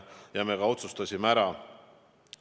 Ja me ka otsustasime asja ära.